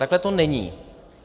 Takhle to není.